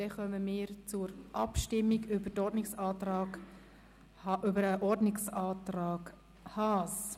Dann kommen wir zur Abstimmung über den Ordnungsantrag Haas.